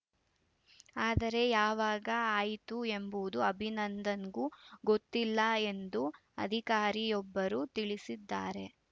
ಆದರೆ ಯಾವಾಗ ಆಯಿತು ಎಂಬುದು ಅಭಿನಂದನ್‌ಗೂ ಗೊತ್ತಿಲ್ಲ ಎಂದು ಅಧಿಕಾರಿಯೊಬ್ಬರು ತಿಳಿಸಿದ್ದಾರೆ